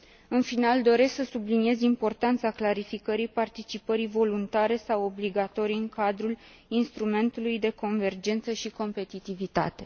În final, doresc să subliniez importanța clarificării participării voluntare sau obligatorii în cadrul instrumentului de convergență și competitivitate.